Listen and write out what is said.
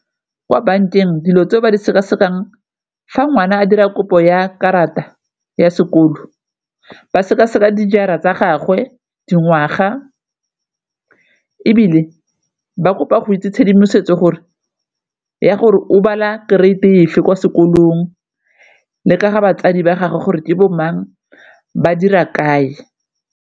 Kwa bankeng dilo tse ba di seka-sekang fa ngwana a dira kopo ya karata ya sekolo ba seka-seka dijara tsa gagwe, dingwaga ebile ba kopa go itse tshedimosetso gore ya gore o bala grade efe kwa sekolong le ka ga batsadi ba gagwe gore ke bo mang ba dira kae.